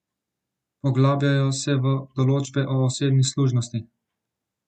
Poglabljajo se v določbe o osebni služnosti.